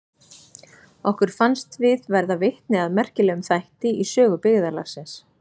Okkur fannst við verða vitni að merkilegum þætti í sögu byggðarlagsins.